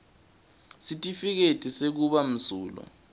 sitifiketi sekuba msulwa